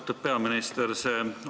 Austatud peaminister!